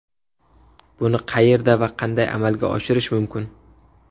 Buni qayerda va qanday amalga oshirish mumkin?